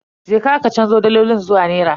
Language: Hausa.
Je ka ka canzo dalolin zuwa nera.